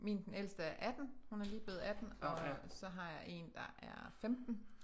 Min den ældste er 18 hun er lige blevet 18 og så har jeg en der er 15